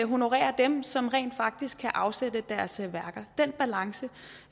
honorerer dem som rent faktisk kan afsætte deres værker den balance